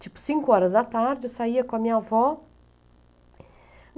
Tipo, cinco horas da tarde, eu saía com a minha avó.